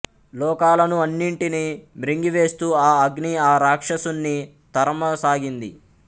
లోకాలను అన్నింటినీ మ్రింగివేస్తూ ఆ అగ్ని ఆ రాక్షసుణ్ణి తరమసాగింది